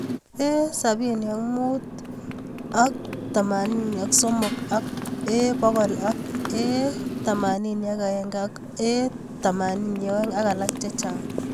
A75/83 ak A100 ak A81 ak A82 ak alak chechang'